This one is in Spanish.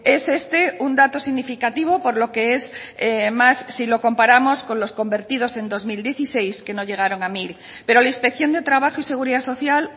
es este un dato significativo por lo que es más si lo comparamos con los convertidos en dos mil dieciséis que no llegaron a mil pero la inspección de trabajo y seguridad social